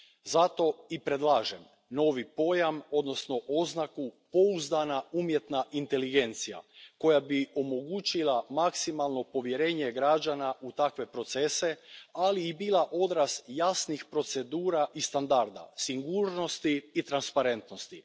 Zato i predlažem novi pojam, odnosno oznaku pouzdana umjetna inteligencija, koja bi omogućila maksimalno povjerenje građana u takve procese, ali i bila odraz jasnih procedura i standarda, sigurnosti i transparentnosti.